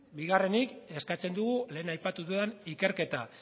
bigarrenik eskatzen dugu lehen aipatu dudan ikerketa